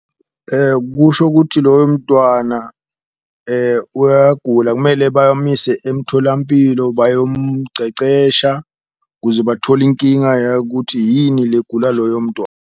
Kusho kuthi loyo mntwana uyagula kumele bamuyise emtholampilo bayomcecesha kuze bathole inkinga yakuthi yini legula loyo .